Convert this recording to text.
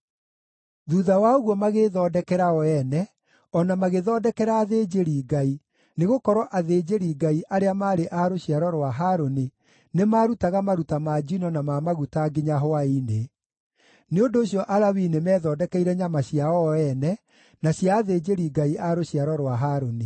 Thuutha wa ũguo magĩĩthondekera o ene, o na magĩthondekera athĩnjĩri-Ngai, nĩgũkorwo athĩnjĩri-Ngai, arĩa maarĩ a rũciaro rwa Harũni, nĩmarutaga maruta ma njino na ma maguta nginya hwaĩ-inĩ. Nĩ ũndũ ũcio Alawii nĩmethondekeire nyama ciao o ene, na cia athĩnjĩri-Ngai a rũciaro rwa Harũni.